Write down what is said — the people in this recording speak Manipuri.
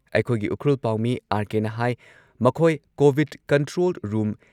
ꯑꯩꯈꯣꯏꯒꯤ ꯎꯈ꯭ꯔꯨꯜ ꯄꯥꯎꯃꯤ ꯑꯥꯔ.ꯀꯦ.ꯅ ꯍꯥꯏ ꯃꯈꯣꯏ ꯀꯣꯚꯤꯗ ꯀꯟꯇ꯭ꯔꯣꯜ ꯔꯨꯝ